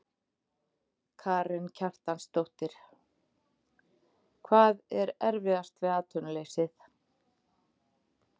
Karen Kjartansdóttir: Hvað er erfiðast við atvinnuleysið?